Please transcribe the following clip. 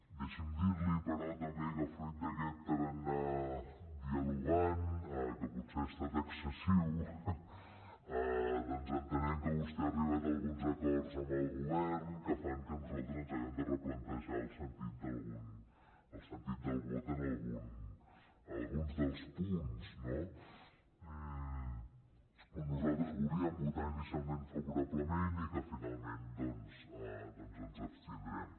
deixi’m dir li també que fruit d’aquest tarannà dialogant que potser ha estat excessiu doncs entenem que vostè ha arribat a alguns acords amb el govern que fan que nosaltres ens hàgim de replantejar el sentit del vot en alguns dels punts no en què nosaltres volíem votar inicialment favorablement i que finalment doncs ens abstindrem